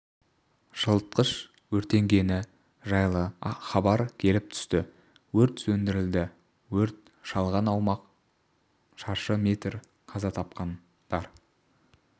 жылытқыш өртенгені жайлы хабар келіп түсті өрт сөндірілді өрт шалған аумақ шаршы метр қаза тапқандар